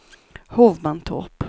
Hovmantorp